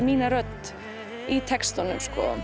mína rödd í textunum